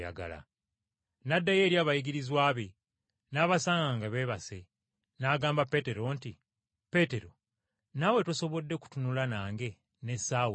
N’addayo eri abayigirizwa be n’abasanga nga beebase. N’agamba Peetero nti, “Peetero, naawe tosobodde kutunula nange n’essaawa emu?